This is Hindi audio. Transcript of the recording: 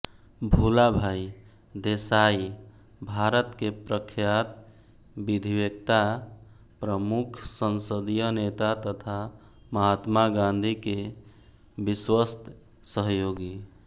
भूलाभाई देसाई भारत के प्रख्यात विधिवेत्ता प्रमुख संसदीय नेता तथा महात्मा गांधी के विश्वस्त सहयोगी